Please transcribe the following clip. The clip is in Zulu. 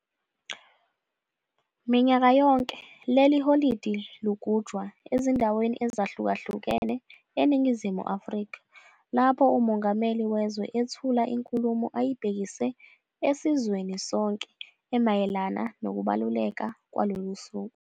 Minyaka yonke leli holide lugujwa ezindaweni ezahlukahlukene eNingizimu Afrika lapho uMongameli wezwe ethula inkulumo eyibhekise esizweni sonke emayelana nokubaluleka kwalolusuku.